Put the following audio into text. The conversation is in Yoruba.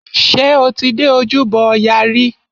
Ṣé o ti dé ojúbọ ọya rí?